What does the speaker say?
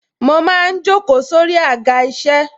Mo máa ń jókòó sórí Àga isẹ.